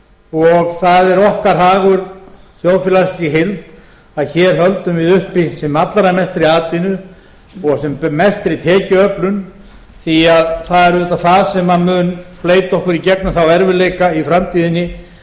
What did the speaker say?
og það er okkar hagur þjóðfélagsins í heild að hér höldum við uppi sem allra mestri atvinnu og sem mestri tekjuöflun því það er auðvitað það sem mun fleyta okkur í gegnum þá erfiðleika í framtíðinni